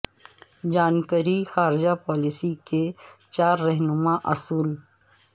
جان Kerry کی خارجہ policy کے چار رہنما اصول